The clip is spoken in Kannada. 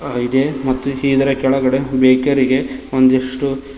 ಆಗಿದೆ ಮತ್ತು ಇದರ ಕೆಳಗಡೆ ಬೇಕರಿ ರಿಗೆ ಒಂದಿಷ್ಟು--